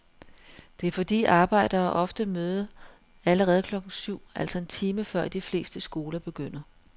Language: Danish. Det er fordi arbejdere ofte møder allerede klokken syv, altså en time før de fleste skoler begynder.